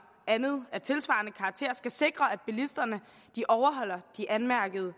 andet af tilsvarende karakter skal sikre at bilisterne overholder de anmærkede